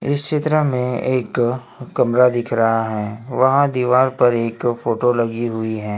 इस चित्र में एक कमरा दिख रहा है वहां दीवार पर एक फोटो लगी हुई है।